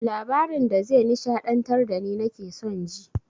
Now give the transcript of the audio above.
Labarin da ze nishaɗantar dani nake son ji